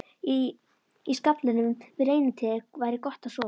Í skaflinum við reynitréð væri gott að sofa.